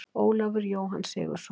Ólafur Jóhann Sigurðsson.